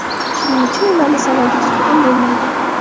Shuning uchun ularni savolga tutib ham bo‘lmaydi.